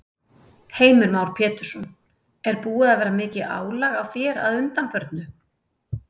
Heimir Már Pétursson: Er búið að vera mikið álag á þér að undanförnu?